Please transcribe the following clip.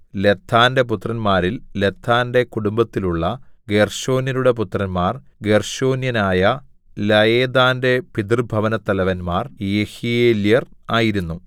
ലദ്ദാന്റെ പുത്രന്മാരിൽ ലദ്ദാന്റെ കുടുംബത്തിലുള്ള ഗേർശോന്യരുടെ പുത്രന്മാർ ഗേർശോന്യനായ ലയെദാന്റെ പിതൃഭവനത്തലവന്മാർ യെഹീയേല്യർ ആയിരുന്നു